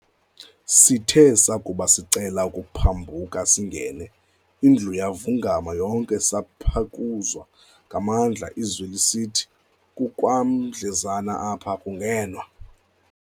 Sithe sakuba sicele ukuphambuka singene, indlu yavungama yonke saphekuzwa ngamandla izwi lisithi, "kukwamdlezana apha akungenwa."